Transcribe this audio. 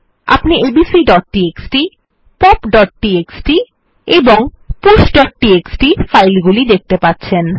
আপনি ABC pop এবং pushটিএক্সটি ফাইল গুলি দেখতে পাচ্ছেন